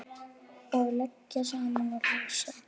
Að liggja saman og lesa.